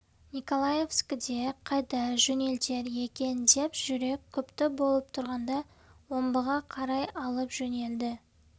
николаевскіден қайда жөнелтер екен деп жүрек күпті болып тұрғанда омбыға қарай алып жөнелді